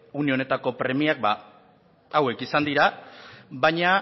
une honetako premiak hauek izan dira baina